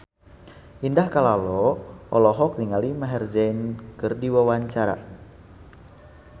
Indah Kalalo olohok ningali Maher Zein keur diwawancara